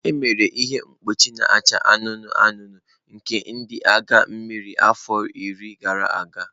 Emere ihe mkpuchi na-acha anụnụ anụnụ nke ndị agha mmiri afọ iri gara aga.